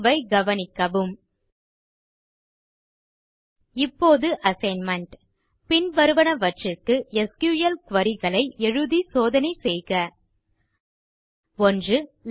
தீர்வைக் கவனிக்கவும் இப்போது assignment பின்வருவனவற்றிற்கு எஸ்கியூஎல் குரி களை எழுதி சோதனை செய்க 1